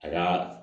A ka